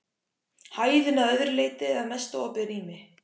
Hæðin að öðru leyti að mestu opið rými.